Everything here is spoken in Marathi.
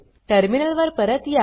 टर्मिनल वर परत या